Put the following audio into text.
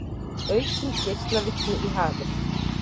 Aukin geislavirkni í hafi